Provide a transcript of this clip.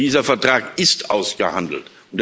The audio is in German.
Dieser Vertrag ist ausgehandelt.